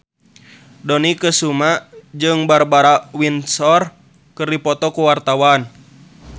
Dony Kesuma jeung Barbara Windsor keur dipoto ku wartawan